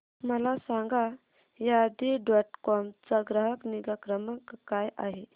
मला सांगा Shaadi dot com चा ग्राहक निगा क्रमांक काय आहे